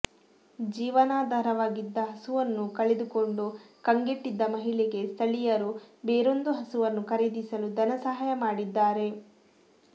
ಜೀವನಾಧಾರವಾಗಿದ್ದ ಹಸುವನ್ನು ಕಳೆದುಕೊಂಡು ಕಂಗೆಟ್ಟಿದ್ದ ಮಹಿಳೆಗೆ ಸ್ಥಳೀಯರು ಬೇರೊಂದು ಹಸುವನ್ನು ಖರೀದಿಸಲು ಧನಸಹಾಯ ಮಾಡಿದ್ದಾರೆ